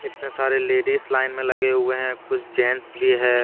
इतने सारे ladies line में लगे हुए हैं कुछ जेंट्स भी है।